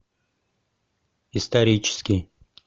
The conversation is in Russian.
исторический